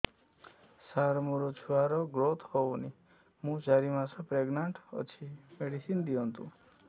ସାର ମୋର ଛୁଆ ର ଗ୍ରୋଥ ହଉନି ମୁ ଚାରି ମାସ ପ୍ରେଗନାଂଟ ଅଛି ମେଡିସିନ ଦିଅନ୍ତୁ